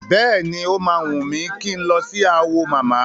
Bẹ́ẹ̀ni, o máa wùn mí kí n lọ sí Awo mama.